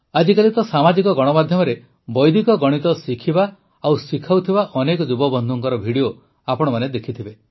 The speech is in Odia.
ଆଜିକାଲି ତ ସାମାଜିକ ଗଣମାଧ୍ୟମରେ ବୈଦିକ ଗଣିତ ଶିଖିବା ଓ ଶିଖାଉଥିବା ଅନେକ ଯୁବବନ୍ଧୁଙ୍କ ଭିଡିଓ ଆପଣମାନେ ଦେଖିଥିବେ